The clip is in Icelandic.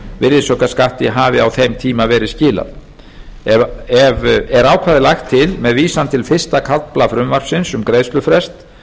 virðisaukaskatti hafi á þeim tíma verið skilað er ákvæðið lagt til með vísan til fyrsta kafla frumvarpsins um greiðslufrest